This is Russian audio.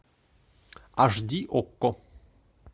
аш ди окко